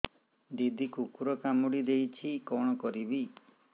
ଦିଦି କୁକୁର କାମୁଡି ଦେଇଛି କଣ କରିବି